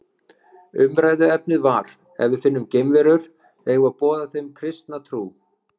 Umræðuefnið var Ef við finnum geimverur, eigum við að boða þeim kristna trú?